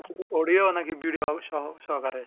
শুধু audio না কি ভিডিও সহ সহকারে